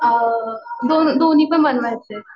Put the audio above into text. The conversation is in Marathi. आं दोन्ही दोन्हीपण बनवायचेत.